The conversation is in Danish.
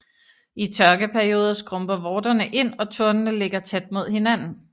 I tørkeperioder skrumper vorterne ind og tornene ligger tæt mod hinanden